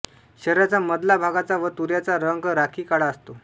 शरीराचा मधला भागाचा व तुऱ्याचा रंग राखी काळा असतो